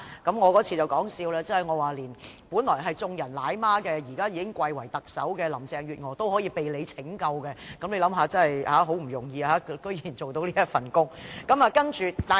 我在該次會議上也說笑指，本來是眾人奶媽，現已貴為特首的林鄭月娥竟需要局長拯救，大家可以想想，局長這份工作多麼不容易。